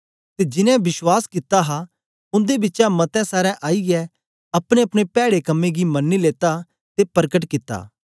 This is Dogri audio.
ते जीनें विश्वास कित्ता हा उन्दे बिचा मते सारें आईयै अपनेअपने पैड़े कम्में गी मनी लेता ते परकट कित्ता